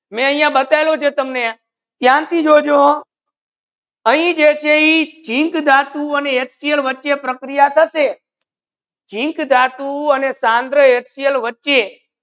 મેં આયિયા બતાવ્યુ છે તમને ધ્યાન થી જો જો અહી જે છે ઇ zink ધાતુ વચ્ચે પ્રક્રિયા થસે zink ધાતુ અને સાંદ્રા એક્સેલ વચ્ચે